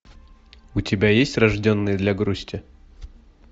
у тебя есть рожденный для грусти